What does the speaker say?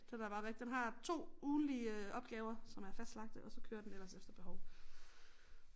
Den er bare den har 2 ugentlige opgaver som er fastlagte og så kører den ellers efter behov